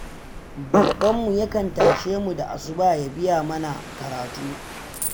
Babbanmu ya kan tashe mu da asuba ya biya mana karatu.